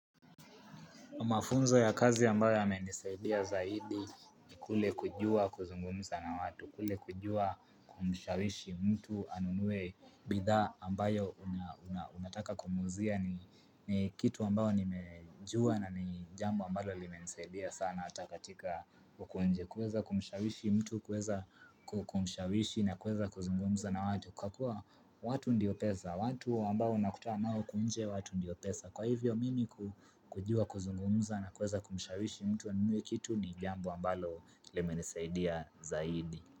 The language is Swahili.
Mafunzo ya kazi ambayo yame nisaidia zaidi ni kule kujua kuzungumza na watu, kule kujua kumshawishi mtu anunue bidhaa ambayo unataka kumuuzia ni kitu ambayo nimejua na ni jambo ambalo limenisaidia sana ata katika huku nje. Kuweza kumshawishi mtu kuweza kumshawishi na kuweza kuzungumunza na watu kwa kuwa watu ndiyo pesa watu ambao unakutana nao huku nje watu ndiyo pesa kwa hivyo mimi kujua kuzungumuza na kweza kumshawishi mtu anunue kitu ni jambo ambalo lime nisaidia zaidi.